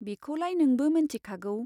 बिखौलाय नोंबो मोनथिखागौ।